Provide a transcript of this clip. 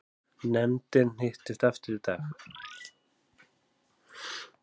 Nefndin hittist aftur í dag